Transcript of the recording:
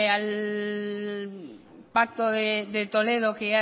al pacto de toledo que